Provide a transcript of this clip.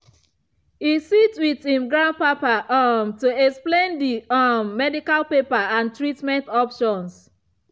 e sit with him grandpapa um to explain the um medical paper and treatment options.